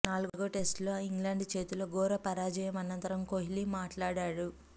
నాలుగో టెస్ట్లో ఇంగ్లండ్ చేతిలో ఘోర పరాజయం అనంతరం కోహ్లీ మాట్లాడాడు